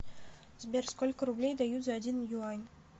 сбер сколько рублей дают за один юань